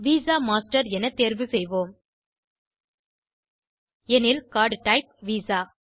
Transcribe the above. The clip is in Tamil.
விசா masterஎனத் தேர்வு செய்வோம் எனவே கார்ட் டைப் விசா